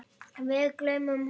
Við gleymum honum!